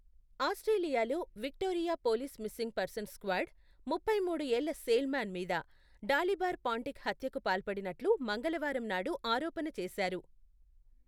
ఆస్ట్రేలియాలో, Victoria police missing persons squad ముప్పైమూడు ఏళ్ల సేల్ మ్యాన్ మీద, డాలిబర్ పాంటిక్ హత్యకు పాల్పడినట్లు మంగళవారం నాడు ఆరోపణ చేసారు.